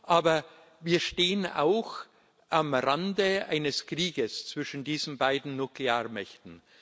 Aber wir stehen auch am Rande eines Krieges zwischen diesen beiden Nuklearmächten.